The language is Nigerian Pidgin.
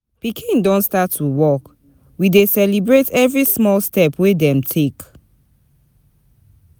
Pikin don start to walk, we dey celebrate every small step wey dem take.